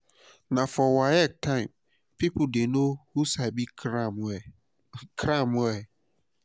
na for waec time people dey know who sabi cram well. cram well.